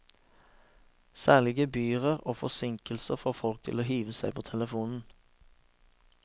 Særlig gebyrer og forsinkelser får folk til å hive seg på telefonen.